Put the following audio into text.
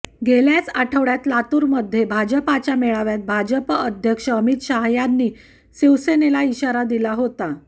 गेल्याच आठवड्यात लातूरमध्ये भाजपच्या मेळाव्यात भाजप अध्यक्ष अमित शहा यांनी शिवसेनेला इशारा दिला होता